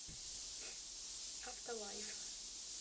авто лайф